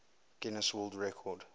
guinness world record